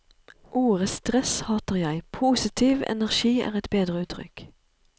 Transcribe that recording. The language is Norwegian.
Ordet stress hater jeg, positiv energi er et bedre uttrykk.